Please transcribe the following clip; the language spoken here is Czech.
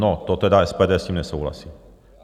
No to tedy SPD s tím nesouhlasí.